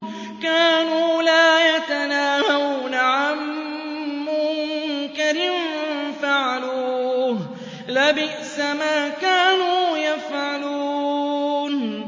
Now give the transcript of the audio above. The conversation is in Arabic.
كَانُوا لَا يَتَنَاهَوْنَ عَن مُّنكَرٍ فَعَلُوهُ ۚ لَبِئْسَ مَا كَانُوا يَفْعَلُونَ